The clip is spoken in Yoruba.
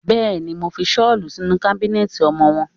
Bẹ́ẹ̀ni, mo fi ṣọ́lù sínú kábínẹ̀tì ọmọwọ́.